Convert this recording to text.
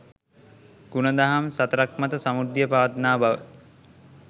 ගුණ දහම් සතරක් මත සමෘද්ධිය පවත්නා බව